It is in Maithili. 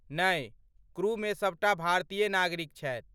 नै, क्रू मे सबटा भारतीय नागरिक छथि।